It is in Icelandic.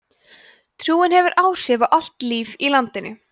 trúin hefur áhrif á allt líf í landinu